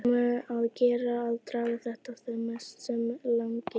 Um að gera að draga þetta sem mest á langinn.